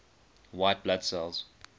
white blood cells